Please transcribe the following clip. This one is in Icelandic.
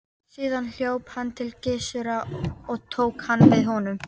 Síðan hljóp hann til Gissurar og tók hann við honum.